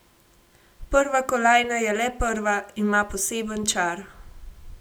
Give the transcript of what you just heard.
Prva kolajna je le prva, ima poseben čar.